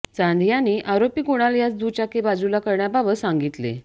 चांद यांनी आरोपी कुणाल यास दुचाकी बाजुला करण्याबाबत सांगितले